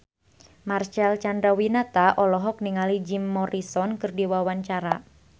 Marcel Chandrawinata olohok ningali Jim Morrison keur diwawancara